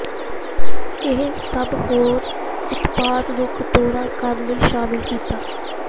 ਇਹ ਸਭ ਹੋਰ ਉਤਪਾਦ ਨੂੰ ਕਟੋਰਾ ਕਰਨ ਲਈ ਸ਼ਾਮਿਲ ਕੀਤਾ